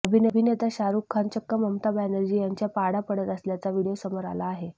अभिनेता शाहरुख खान चक्क ममता बॅनर्जी यांच्या पाडा पडत असल्याचा व्हिडिओ समोर आला आहे